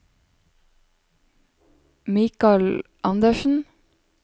Mikal Anderssen